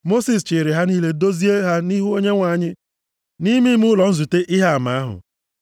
Mosis chịịrị ha niile dozie ha nʼihu Onyenwe anyị nʼime ime ụlọ nzute Ihe Ama ahụ.